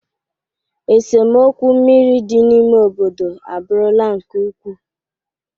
Esemokwu mmiri dị n'ime obodo abụrụla nke ukwuu